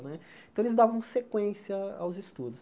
Né então eles davam sequência aos estudos.